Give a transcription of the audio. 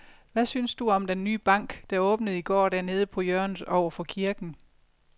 Hvad synes du om den nye bank, der åbnede i går dernede på hjørnet over for kirken?